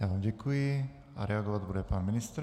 Já vám děkuji a reagovat bude pan ministr.